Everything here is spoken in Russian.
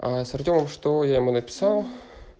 аа с артёмом что я ему написал